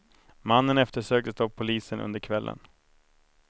Mannen eftersöktes av polisen under kvällen.